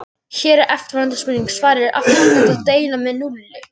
Hér var eftirfarandi spurningum svarað: Af hverju er ekki hægt að deila með núlli?